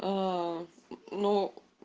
ну